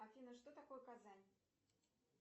афина что такое казань